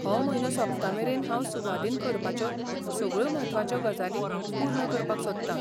हो म्हयनो सोंपतामेरेन हांव सुवादीन करपाच्यो सगळ्यो म्हत्वाच्यो गजाली पूर्ण करपाक सोदता.